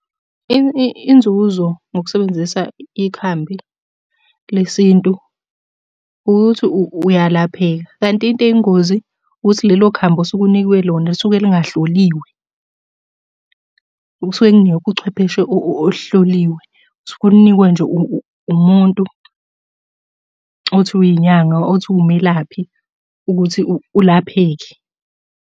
Inzuzo ngokusebenzisa ikhambi lesintu ukuthi uyalapheka, kanti into eyingozi ukuthi lelo khambi osuke unikwe lona lisuke lingahloliwe. Kusuke kungekho uchwepheshe olihloliwe. Usuke ulinikwe nje umuntu othi uyinyanga, othi uwumelaphi ukuthi ulapheke.